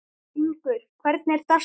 Hún verður myrk og köld í dag.